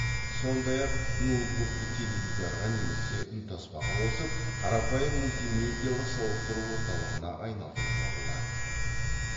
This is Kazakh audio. сондай ақ ноутбукты теледидарға немесе үнтаспаға қосып қарапайым мультимедиалық сауықтыру орталығына айналдыруға болады